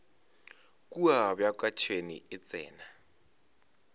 kua bjaka tšhwene e tsena